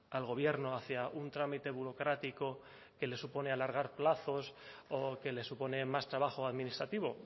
al gobierno hacia un trámite burocrático que le supone alargar plazos o que le supone más trabajo administrativo